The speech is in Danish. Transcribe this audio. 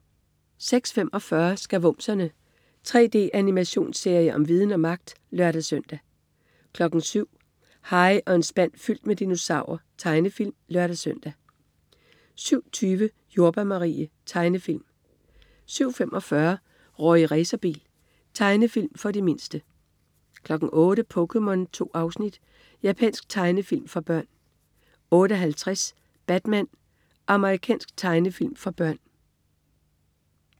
06.45 Skavumserne. 3D-animationsserie om viden og magt! (lør-søn) 07.00 Harry og en spand fyldt med dinosaurer. Tegnefilm (lør-søn) 07.20 Jordbær Marie. Tegnefilm 07.45 Rorri Racerbil. Tegnefilm for de mindste 08.00 POKéMON. 2 afsnit. Japansk tegnefilm for børn 08.50 Batman. Amerikansk tegnefilmserie for børn